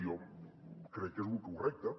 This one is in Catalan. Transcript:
jo crec que és lo correcte